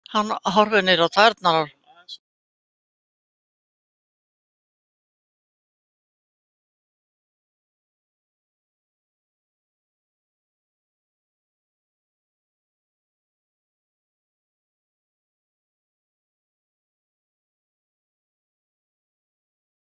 Hann horfir niður á tærnar á sér.